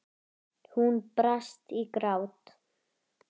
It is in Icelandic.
Hún brast í grát.